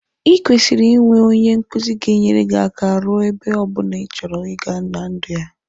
I kwesiri i nwe onye nkuzi ga enyere gi aka ruo ebe ọbụna ichọrọ iga na ndụ a.